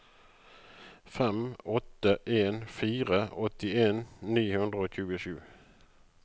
fem åtte en fire åttien ni hundre og tjuesju